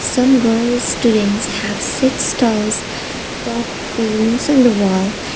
some girl students have sit stalls top balloons in the wall.